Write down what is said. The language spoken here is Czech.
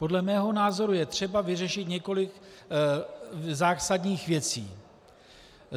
Podle mého názoru je třeba vyřešit několik zásadních věcí.